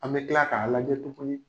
An be tila k'a lajɛ tuguni